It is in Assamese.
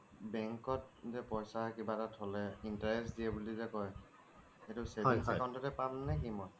Bank ত যে পইছা কিবা এটা থলে interest দিয়ে বুলি যে কই সেইটো savings account তে পাম নে কি মই